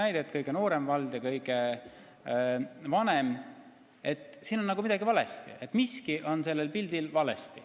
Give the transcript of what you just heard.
Need on kaks drastilist näidet: kõige noorema elanikkonnaga ja kõige vanema elanikkonnaga vald.